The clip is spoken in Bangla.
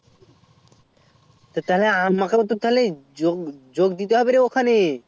তাহলে আমাকে তো যোগ দিতে হবে ওখানে